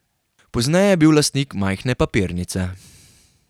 Pozneje je bil lastnik majhne papirnice.